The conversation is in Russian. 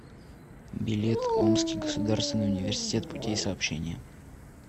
билет омский государственный университет путей сообщения